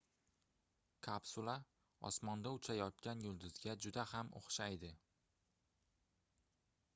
kapsula osmonda uchayotgan yulduzga juda ham oʻxshaydi